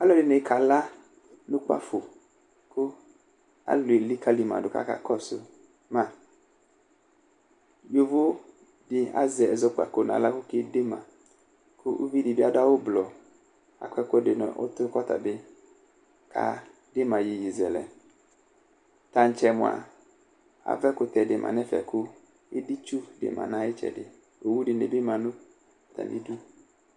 Aluɛdini kala nʋ ʋkpǝfo kʋ alulu elikǝli madʋ kʋ aka kɔsʋ ma Yovo di azɛ ɛzɛkpako nʋ aɣla kedema, kʋ uvi di bɩ adu awu ʋblɔ Akɔ ɛkʋɛdi nʋ ʋtʋ kʋ ɔtabɩ atsi ama iyeyezɛlɛ Taŋtsɛ mʋa ava ɛkʋtɛ di ma nʋ ɛfɛ kʋ editsu di ma nʋ ayitsɛdɩ Owu dini bɩ ma nʋ atamɩdu